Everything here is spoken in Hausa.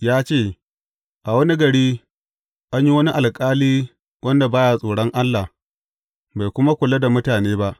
Ya ce, A wani gari, an yi wani alƙali wanda ba ya tsoron Allah, bai kuma kula da mutane ba.